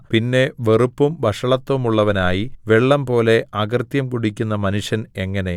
പിന്നെ വെറുപ്പും വഷളത്തവുമുള്ളവനായി വെള്ളംപോലെ അകൃത്യം കുടിക്കുന്ന മനുഷ്യൻ എങ്ങനെ